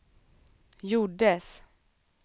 gjordes